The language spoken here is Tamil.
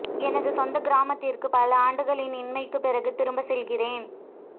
எனது சொந்த கிராமத்திற்கு பல ஆண்டுகளின் இன்மைக்கு பிறகு திரும்ப செல்கிறேன்